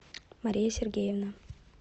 мария сергеевна